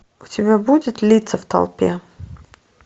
у тебя будет лица в толпе